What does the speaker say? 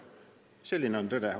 Selline on tõde.